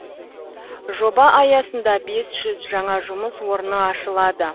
жоба аясында бес жүз жаңа жұмыс орны ашылады